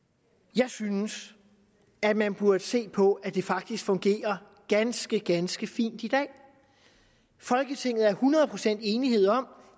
jeg synes at man burde se på at det faktisk fungerer ganske ganske fint i dag folketinget er hundrede procent enige om